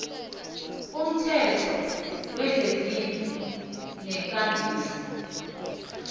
umthetho wezezindlu nekambiso